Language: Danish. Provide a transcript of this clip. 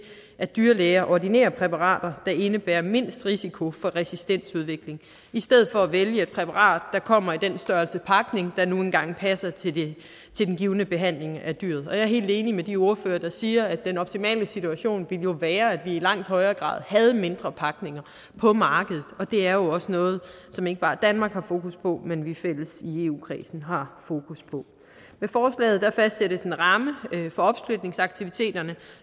at dyrlæger ordinerer præparater der indebærer mindst risiko for resistensudvikling i stedet for at vælge et præparat der kommer i den størrelse pakning der nu engang passer til til den givne behandling af dyret og jeg er helt enig med de ordførere der siger at den optimale situation jo ville være at vi i langt højere grad havde mindre pakninger på markedet og det er også noget som ikke bare danmark har fokus på men som vi fælles i eu kredsen har fokus på med forslaget fastsættes en ramme for opsplitningsaktiviteterne